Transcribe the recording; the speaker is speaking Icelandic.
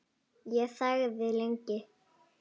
Ég þagði lengi.